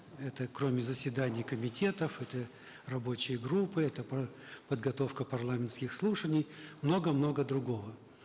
это кроме заседаний комитетов это рабочие группы это подготовка парламентских слушаний много много другого